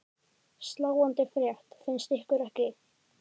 Sláandi frétt finnst ykkur ekki?